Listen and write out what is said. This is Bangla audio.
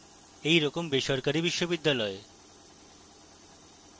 এই রকম বেসরকারি বিশ্ববিদ্যালয়